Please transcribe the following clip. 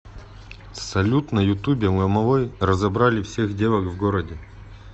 салют на ютубе ломовой разобрали всех девок в городе